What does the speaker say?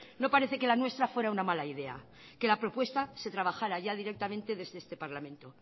no parece que la nuestra fuera una mala idea que la propuesta se trabajara ya directamente desde este parlamento